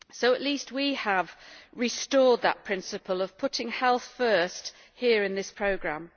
At least we have restored that principle of putting health first here in this programme.